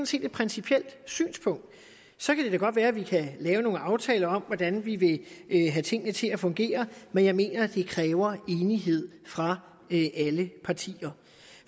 set et principielt synspunkt så kan det da godt være at vi kan lave nogle aftaler om hvordan vi vil have tingene til at fungere men jeg mener at det kræver enighed fra alle partier